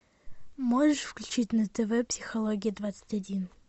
можешь включить на тв психология двадцать один